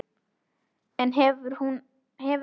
En hefur hann ákveðið hvar hún mun spila hjá honum?